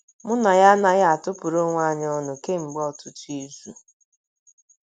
Mụ na ya anaghị atụpụrụ onwe anyị ọnụ kemgbe ọtụtụ izu. ”